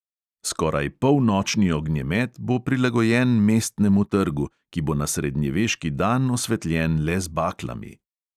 Skoraj polnočni ognjemet bo prilagojen mestnemu trgu, ki bo na srednjeveški dan osvetljen le z baklami.